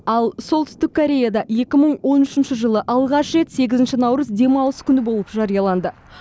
ал солтүстік кореяда екі мың он үшінші жылы алғаш рет сегізінші наурыз демалыс күні болып жарияланды